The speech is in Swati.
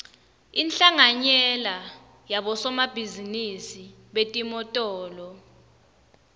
inhlanganyela yabosomabhizinisi betimotolo